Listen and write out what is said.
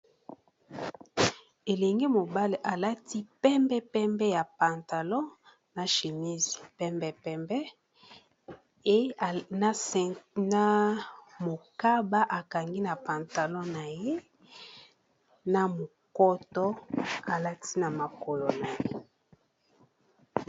Elenge mobale alati pembepembe ya pantalon na chimise pembe, pembe ena mokaba akangi na pantalo na ye na mokoto alati na makolo na ye